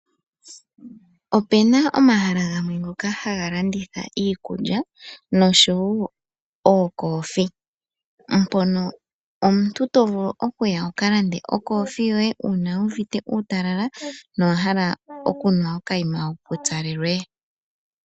Opu na omahala ngono haga landithwa iikulya nosho woo okoothiwa. Omuntu oto vulu okuya wuka lande okothiwa yoye uuna wu uvite uutalala nowa hala okunwa okayima wu pupyalelwe.